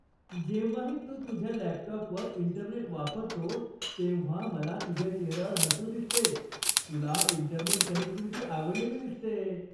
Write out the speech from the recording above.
जेव्हाही तू तुझ्या लॅपटॉपवर इंटरनेट वापरतोस तेव्हा मला तुझ्या चेहऱ्यावर हसू दिसते. तुला इंटरनेट कनेक्टिव्हिटी आवडलेली दिसते!